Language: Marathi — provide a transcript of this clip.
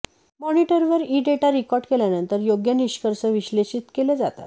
मॉनिटरवर ई डेटा रेकॉर्ड केल्यानंतर योग्य निष्कर्ष विश्लेषित केले जातात